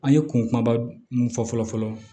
An ye kun kuma mun fɔ fɔlɔ fɔlɔ